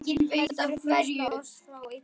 heldur frelsa oss frá illu.